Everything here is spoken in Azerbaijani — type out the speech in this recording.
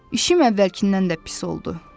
İşim əvvəlkindən də pis oldu.